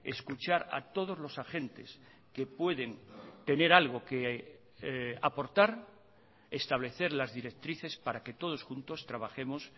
escuchar a todos los agentes que pueden tener algo que aportar establecer las directrices para que todos juntos trabajemos